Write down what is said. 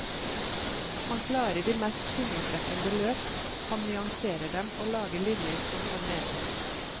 Han klarer de mest fingerbrekkende løp, han nyanserer dem og lager linjer som får mening.